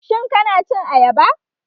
Shin kana cin ayaba?